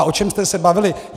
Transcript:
A o čem jste se bavili?